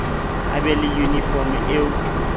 a be le yunifomo eo